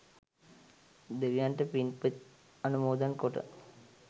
දෙවියන්ට පින්පෙත් අනුමෝදන් කොට